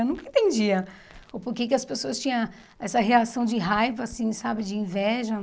Eu nunca entendia o porquê que as pessoas tinham essa reação de raiva, assim, sabe, de inveja.